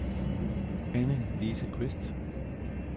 Anne-Lise Qvist